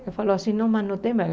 Ele falou assim, não, mas não tem vaga